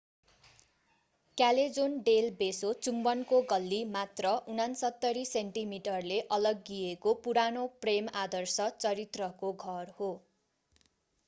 Callejon del Beso चुम्बनको गल्ली। मात्र 69 सेन्टिमिटरले अलग्गिएको पुरानो प्रेम आदर्श चरित्रको घर हो।